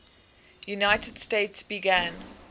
united states began